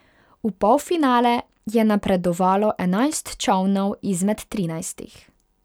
V polfinale je napredovalo enajst čolnov izmed trinajstih.